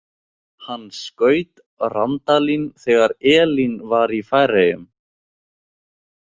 Hann skaut Randalín þegar Elín var í Færeyjum.